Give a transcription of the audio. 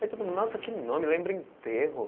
Aí todo mundo, nossa, que nome, lembra enterro.